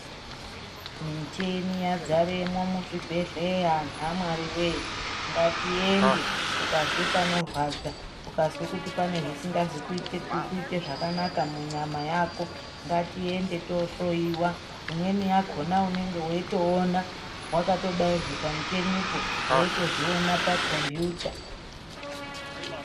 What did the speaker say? Micheni yadzaremwo muzvibhedhleya antu amwari voye, ngatiende ukazwa panorwadza ukazwe kuti pane zvisina kuite zvakanaka munyama yako. Ngatiende tohloiwa imweni yakona unenge veitoona vakatobairwe pamuchenipo veitozviona pakombiyuta.